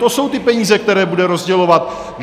To jsou ty peníze, které bude rozdělovat.